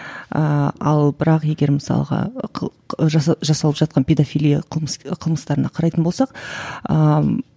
ыыы ал бірақ егер мысалға жаса жасалып жатқан педофилия қылмыс қылмыстарына қарайтын болсақ ыыы